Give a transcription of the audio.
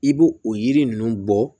I b'o o yiri ninnu bɔ